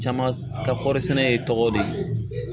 Caman ka kɔɔri sɛnɛ i tɔgɔ de ye